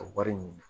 Ka wari ɲini